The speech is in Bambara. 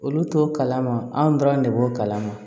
Olu t'o kalama anw dɔrɔn de b'o kalan ma